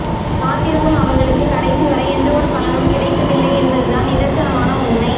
காத்திருக்கும் அவர்களுக்கு கடைசி வரை எந்தவொரு பலனும் கிடைப்பதில்லை என்பதுதான் நிதர்சனமான உண்மை